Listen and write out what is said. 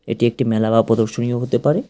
এটি একটি মেলা বা প্রদর্শনীও হতে পারে।